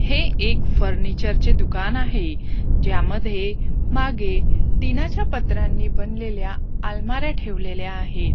हे एक फर्निचर चे दुकानं आहे. ज्यामध्ये मागे टिनाच्या पत्रांनी बनलेल्या अलमाऱ्या ठेवलेल्या आहेत.